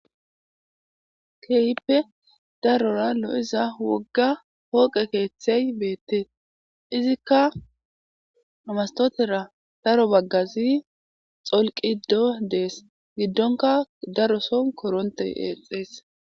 keehippe darora lo7iza wogga hooqe keeththey beettee izikka amastotera daro baggazi xolqiddo dees giddonka daroson koronte eexees